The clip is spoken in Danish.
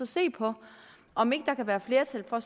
se på om ikke der kan være flertal for